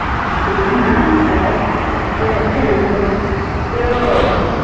ਚੱਲ ਠੀਕ ਆ ਤੇ ਉਹ